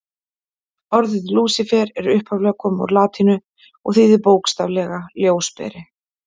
Orðið Lúsífer er upphaflega komið úr latínu og þýðir bókstaflega ljósberi.